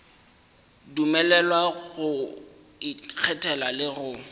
dumelelwa go ikgethela le go